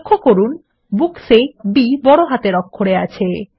লক্ষ্য করুন Books এ b বড় হাতের অক্ষরে আছে